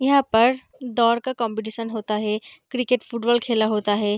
यहाँ पर दौड़ का कॉम्पीटिशन होता हे क्रिकेट फुटबॉल खेला होता हे।